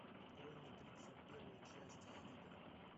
открой мне тридцать первая часть хильда